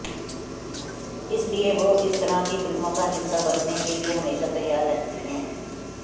इसलिए वो इस तरह की फिल्मों का हिस्सा बनने के लिए हमेशा तैयार रहती हैं